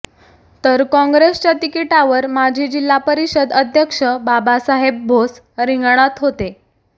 तर काँग्रेसच्या तिकिटावर माजी जिल्हा परिषद अध्यक्ष बाबासाहेब भोस रिंगणात होते